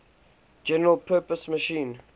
general purpose machine